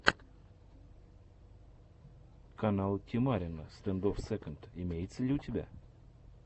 канал тимарина стэндофф секонд имеется ли у тебя